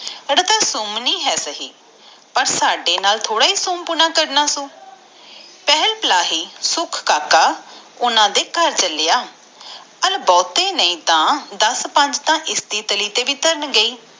ਪਰ ਤਝਹੋਰੀ ਸੁਮਣੀ ਆ ਪਰ ਸਾਡੇ ਨਾਲ ਥੋੜ੍ਹਾ ਸਿਉਂ ਪੁਣਾ ਕਰਨਾ ਆ ਸੋ ਪਰ ਤਝਹੋਰੀ ਸੁਮਣੀ ਆ ਕਰਨਾ ਸੋ ਪਹਿਲ ਪਿਲਾਹੀ ਸੁਖ ਕਾਕਾ ਓਹਨਾ ਘਰ ਚਲਾ ਜਾਂਦਾ ਨੀ ਥੋਰਦਾ ਬਹੁਤ ਤਾ ਹਨ ਦੀ ਟੇਲੀ ਤੇ ਵੀ ਧਾਰਨ ਗਏ ਹੀ